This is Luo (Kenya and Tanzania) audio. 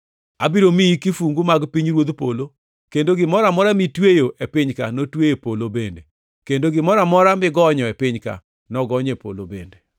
Abiro miyi kifungu mag pinyruodh polo; kendo gimoro amora mitweyo e piny-ka notwe e polo bende, kendo gimoro amora migonyo e piny-ka nogony e polo bende.”